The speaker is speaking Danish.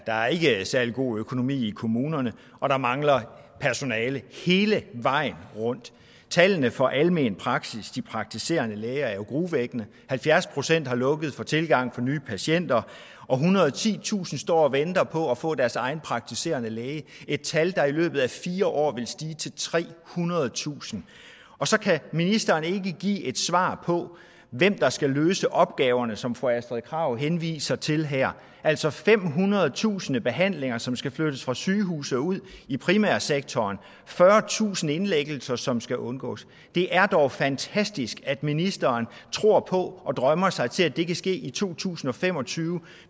er ikke særlig god økonomi i kommunerne og der mangler personale hele vejen rundt tallene for almen praksis de praktiserende læger er jo urovækkende halvfjerds procent har lukket for tilgangen for nye patienter og ethundrede og titusind står og venter på at få deres egen praktiserende læge et tal der er i løbet af fire år vil stige til trehundredetusind og så kan ministeren ikke give et svar på hvem der skal løse opgaverne som fru astrid krag henviser til her altså femhundredetusind behandlinger som skal flyttes fra sygehuset og ud i primærsektoren fyrretusind indlæggelser som skal undgås det er dog fantastisk at ministeren tror på og drømmer sig til at det kan ske i to tusind og fem og tyve